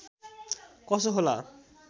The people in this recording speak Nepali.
कसो होला